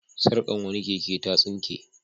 Sarkar wani keke ta tsinke.